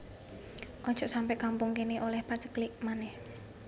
Ojok sampe kampung kene oleh paceklik maneh